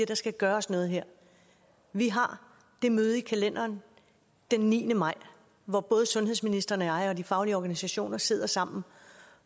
der skal gøres noget her vi har det møde i kalenderen den niende maj hvor både sundhedsministeren og jeg og de faglige organisationer sidder sammen